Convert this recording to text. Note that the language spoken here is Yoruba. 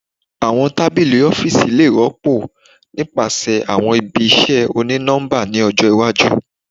Awọn tabili ọfiisi le rọpo nipasẹ awọn ibi iṣẹ oni-nọmba ni ọjọ iwaju